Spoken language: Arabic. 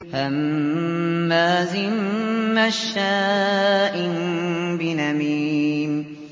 هَمَّازٍ مَّشَّاءٍ بِنَمِيمٍ